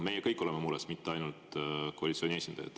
Me kõik oleme mures, mitte ainult koalitsiooni esindajad.